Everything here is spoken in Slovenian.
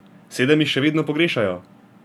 Sedem jih še vedno pogrešajo.